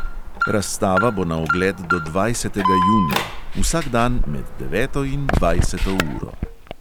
Razstava bo na ogled do dvajsetega junija, vsak dan med deveto in dvajseto uro.